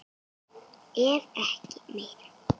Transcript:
Ef ekki meira.